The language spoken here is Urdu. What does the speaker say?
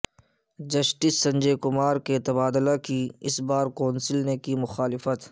جسٹس سنجے کمار کے تبادلہ کی بار کونسل نے کی مخالفت